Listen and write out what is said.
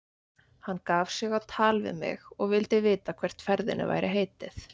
Hann gaf sig á tal við mig og vildi vita hvert ferðinni væri heitið.